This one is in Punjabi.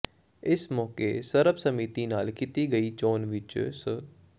ਇਸ ਮੈਕੇ ਸਰਬਸੰਮਤੀ ਨਾਲ ਕੀਤੀ ਗਈ ਚੋਣ ਵਿੱਚ ਸ੍ਰ